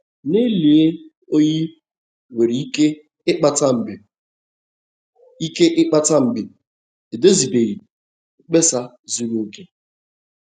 Nlelị oyi nwere ike ịkpata mgbe ike ịkpata mgbe edozibeghị mkpesa zuru oke.